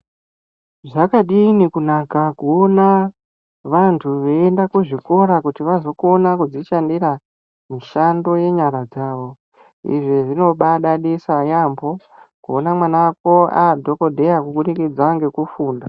Zvakadini kunaka kuona vantu veienda kuzvikora kuti vazokona kuzvishandira mishando yenyara dzavo. Izvi zvinobadadisa yampho kuona mwana wako aadhokodheya kubudikidza nekufunda.